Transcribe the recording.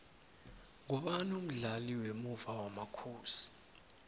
ngumani umdlali wemuva wamakhosi